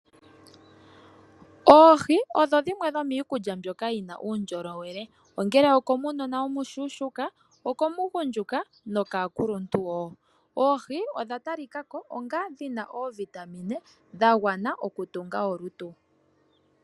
Oohi odho dhimwe dhomiikulya mbyoka yina uundjolowele ongele okomunona omushuushuka, okomugundjuka nokaakuluntu woo. Oohi odha talikako onga dhina oovitamine dhagwana oku tunga olutu.